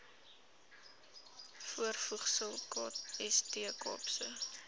voorvoegsel kst kaapse